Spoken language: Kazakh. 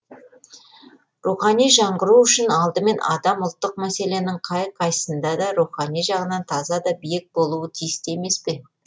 рухани жаңғыру үшін алдымен адам ұлттық мәселенің қай қайсында да рухани жағынан таза да биік болуы тиісті емес пе